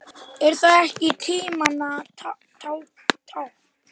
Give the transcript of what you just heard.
Er það ekki tímanna tákn?